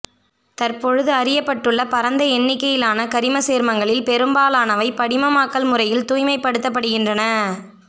தற்பொழுது அறியப்பட்டுள்ள பரந்த எண்ணிக்கையிலான கரிமச்சேர்மங்களில் பெரும்பாலானவை படிகமாக்கல் முறையில் தூய்மைப் படுத்தப்படுகின்றன